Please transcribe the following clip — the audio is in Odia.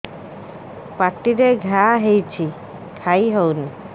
ପାଟିରେ ଘା ହେଇଛି ଖାଇ ହଉନି